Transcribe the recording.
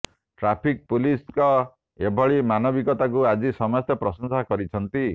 traffic ପୁଲିସ୍ଙ୍କ ଏଭଳି ମାନବିକତାକୁ ଆଜି ସମସ୍ତେ ପ୍ରଶଂସା କରିଛନ୍ତି